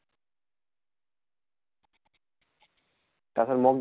তাৰ পিছত mock